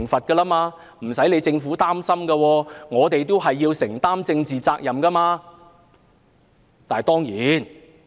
其實政府無須擔心，我們要承擔政治責任。